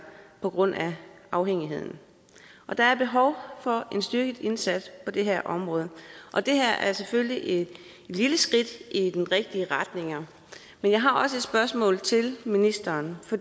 på grund af afhængigheden der er behov for en styrket indsats på det her område det her er selvfølgelig et lille skridt i den rigtige retning men jeg har også et spørgsmål til ministeren